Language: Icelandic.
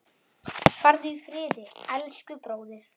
Farðu í friði, elsku bróðir.